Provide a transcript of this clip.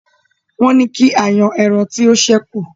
Wọ́n ni kí a yan ẹran tí ó ṣẹ́kùn